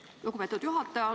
Aitäh, lugupeetud juhataja!